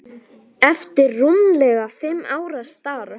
eftir rúmlega fimm ára starf.